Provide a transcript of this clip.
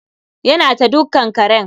Ya na ta dukkan karen.